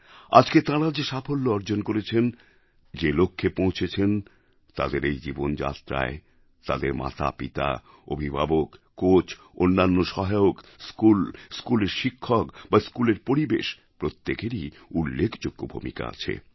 আজকে তাঁরা যে সাফল্য অর্জন করেছেন যে লক্ষ্যে পৌঁছেছেন তাঁদের এই জীবনযাত্রায় তাঁদের মাতাপিতা অভিভাবক কোচ অন্যান্য সহায়ক স্কুল স্কুলের শিক্ষক বা স্কুলের পরিবেশ প্রত্যেকেরই উল্লেখযোগ্য ভূমিকা আছে